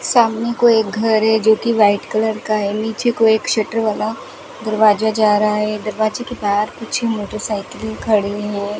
सामने को एक घर है जो कि व्हाइट कलर का है नीचे को एक शटर वाला दरवाजा जा रहा है दरवाजे के पास कुछ मोटरसाइकिल खड़े हैं।